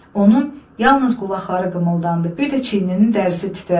Onun yalnız qulaqları qımıldandı, bir də çiyninin dərisi titrədi.